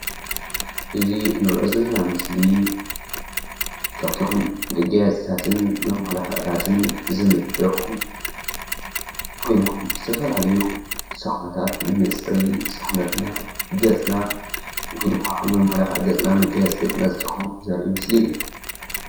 እዚ እንሪኦ ዘለና ምስሊ ካብቶም መጋየፅታትን መመላኽዕታትን ዝምደቡ ኮይኖም ዝተፈላለዩ ሳሙናታት ንመፅረዪ ሰዉነትና፣ ገፅና ወይ ድማ ንመመላኽዒ ገፅና መጋየፂ ገፅና ዝጠቕሙ ዘርኢ ምስሊ እዩ።